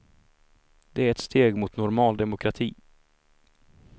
Det är ett steg mot normal demokrati.